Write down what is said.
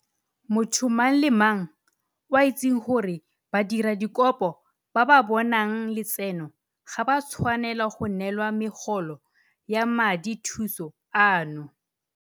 Motho mang le mang o a itseng gore badiradikopo ba ba bonang letseno ga ba tshwanela go neelwa megolo ya madithuso ano.